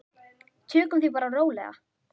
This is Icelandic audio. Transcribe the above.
Tökum því bara rólega.